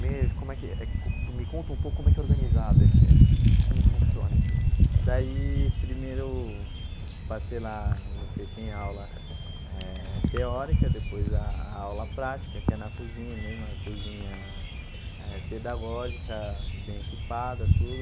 Meses como é que eh co me conta um pouco como é que é organizado esse... como funciona esse... Daí primeiro hum eu passei lá, você tem aula eh teórica, depois a a aula prática, que é na cozinha mesmo, a cozinha eh pedagógica, bem equipada, tudo.